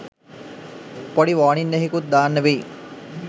පොඩි වෝනින් එහෙකුත් දාන්න වෙයි